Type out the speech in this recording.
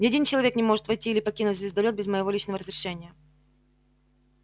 ни один человек не может войти или покинуть звездолёт без моего личного разрешения